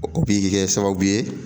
O bi kɛ sababu ye